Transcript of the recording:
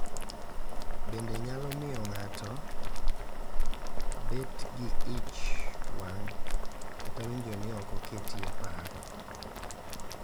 Bende nyalo miyo ng’ato obed gi ich wang’, kata winjo ni ok oketie e paro.